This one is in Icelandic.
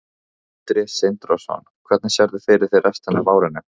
Sindri Sindrason: Hvernig sérðu fyrir þér restina af árinu?